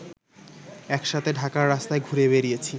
একসাথে ঢাকার রাস্তায় ঘুরে বেড়িয়েছি